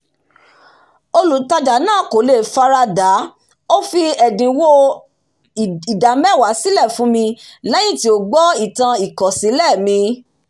olùtàjà náà kò le fara da ó fi ẹ̀dínwó ida mewa fun mi lẹ́yìn tí ó gbọ́ ìtàn ìkọ̀sílẹ̀ mi